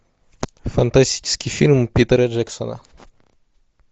фантастический фильм питера джексона